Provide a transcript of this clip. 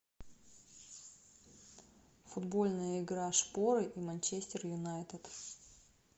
футбольная игра шпоры и манчестер юнайтед